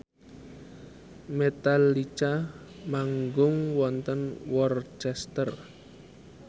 Metallica manggung wonten Worcester